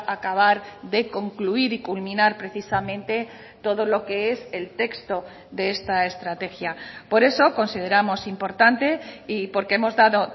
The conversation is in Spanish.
acabar de concluir y culminar precisamente todo lo que es el texto de esta estrategia por eso consideramos importante y porque hemos dado